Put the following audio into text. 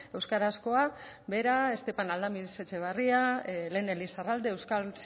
euskarazkoa bera estepan aldamiz etxebarria elene lizarralde euskal